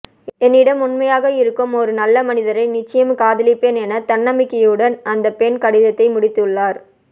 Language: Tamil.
என்னிடம் உண்மையாக இருக்கும் ஒரு நல்ல மனிதரை நிச்சயம் காதலிப்பேன் என தன்னம்பிக்கையுடன் அந்த பெண் கடிதத்தை முடித்துள்ளார்